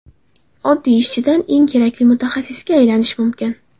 Oddiy ishchidan eng kerakli mutaxassisga aylanish mumkin.